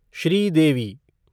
Sridevi